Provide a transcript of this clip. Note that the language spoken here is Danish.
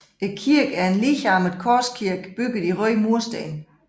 Kirken er en ligearmet korskirke bygget i røde mursten